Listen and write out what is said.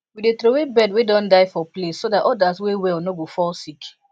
we dey throw way bird way don die for place so that others way well no go fall sick